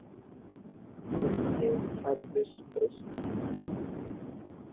Grunni kerfis breytt